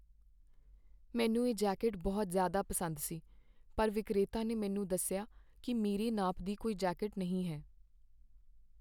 ਮੈਨੂੰ ਇਹ ਜੈਕੇਟ ਬਹੁਤ ਜ਼ਿਆਦਾ ਪਸੰਦ ਸੀ ਪਰ ਵਿਕਰੇਤਾ ਨੇ ਮੈਨੂੰ ਦੱਸਿਆ ਕੀ ਮੇਰੇ ਨਾਪ ਦੀ ਕੋਈ ਜੈਕੇਟ ਨਹੀਂ ਹੈ।